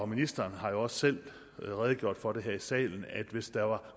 ministeren har jo selv redegjort for det her i salen hvis der er